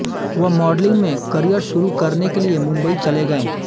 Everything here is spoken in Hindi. वह मॉडलिंग में करियर शुरू करने के लिए मुंबई चले गए